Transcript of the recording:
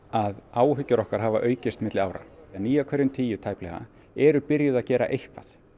að áhyggjur okkar hafa aukist milli ára meirihluti níu af hverjum tíu er byrjaður að gera eitthvað